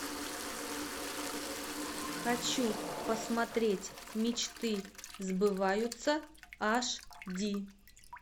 хочу посмотреть мечты сбываются ашди